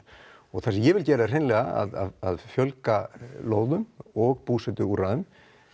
það sem ég vil gera er hreinlega að fjölga lóðum og búsetuúrræðum